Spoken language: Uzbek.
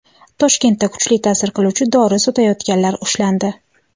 Toshkentda kuchli ta’sir qiluvchi dori sotayotganlar ushlandi.